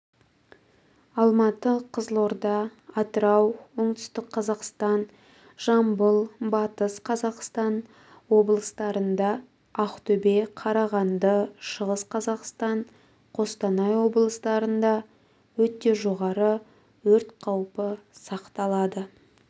алматы қызылорда атырау оңтүстік қазақстан жамбыл батыс қазақстан облыстарында ақтөбе қарағанды шығыс қазақстан қостанай облыстарында өте жоғары өрт қаупі сақталады